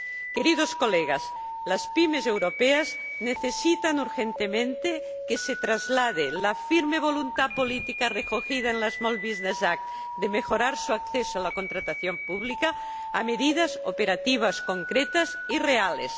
Queridos colegas, las PYME europeas necesitan urgentemente que se traslade la firme voluntad política recogida en la Small Business Act de mejorar su acceso a la contratación pública a medidas operativas concretas y reales.